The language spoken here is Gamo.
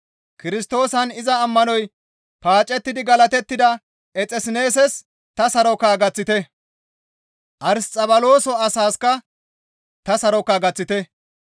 Kirstoosan iza ammanoy paacettidi galatettida Exesseneesses ta saroka gaththite; Arsixabaloso asaasikka ta saroka gaththite.